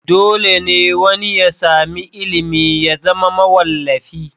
Dole ne wani ya sami ilimi ya zama mawallafi?